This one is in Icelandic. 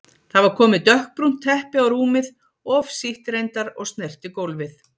Það var komið dökkbrúnt teppi á rúmið, of sítt reyndar og snerti gólfið.